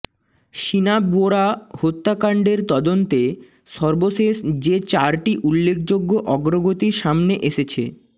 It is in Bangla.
শিনা বোরা হত্যা কাণ্ডের তদন্তে সর্বশেষ যে চারটি উল্লেখযোগ্য অগ্রগতি সামনে এসেছে